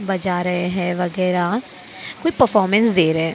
बजा रहे है वगैरह कोई परफॉर्मेंस दे रहे है।